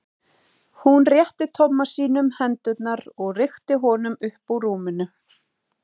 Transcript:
Hún rétti Tomma sínum hendurnar og rykkti honum upp úr rúminu.